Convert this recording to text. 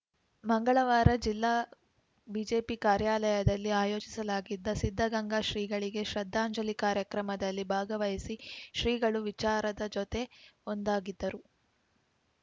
ಮಂಗಳವಾರ ಜಿಲ್ಲಾ ಬಿಜೆಪಿ ಕಾರ್ಯಾಲಯದಲ್ಲಿ ಆಯೋಜಿಸಲಾಗಿದ್ದ ಸಿದ್ಧಗಂಗಾ ಶ್ರೀಗಳಿಗೆ ಶ್ರದ್ಧಾಂಜಲಿ ಕಾರ್ಯಕ್ರಮದಲ್ಲಿ ಭಾಗವಹಿಸಿ ಶ್ರೀಗಳು ವಿಚಾರದ ಜೊತೆ ಒಂದಾಗಿದ್ದರು